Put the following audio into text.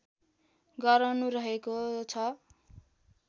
गराउनु रहेको छ